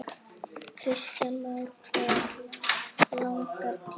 Kristján Már: Hve langan tíma?